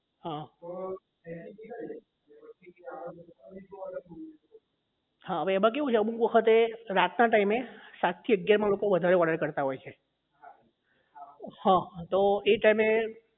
હા અવે એમાં કેવું છે અમુક વખતે રાતના time આઠ થી અગિયાર માં લોકો વધુ order કરતા હોય છે હા તો એ time એ